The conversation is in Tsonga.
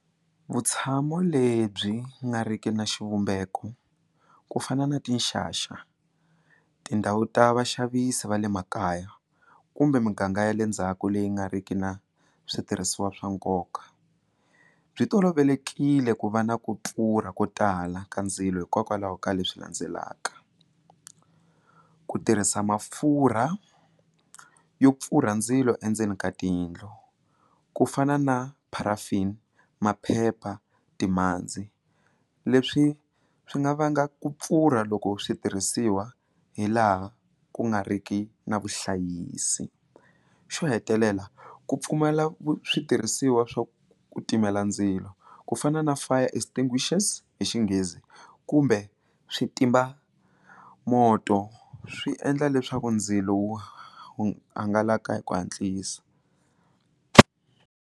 Vutshamo lebyi nga riki na xivumbeko ku fana na tinxaxa tindhawu ta vaxavisi va le makaya kumbe muganga ya le ndzhaku leyi nga riki na switirhisiwa swa nkoka byi tolovelekile ku va na ku pfurha ko tala ka ndzilo hikokwalaho ka leswi landzelaka, ku tirhisa mafurha yo pfurha ndzilo endzeni ka tiyindlu ku fana na paraffin maphepha timhandzi leswi swi nga vanga ku pfurha loko switirhisiwa hi laha ku nga riki na vuhlayisi, xo hetelela ku pfumala switirhisiwa swa ku timela ndzilo ku fana na fire extinguishers hi Xinghezi kumbe switimamoto swi endla leswaku ndzilo wu hangalaka hi ku hatlisa.